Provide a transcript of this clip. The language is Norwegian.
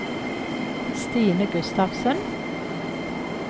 Stine Gustavsen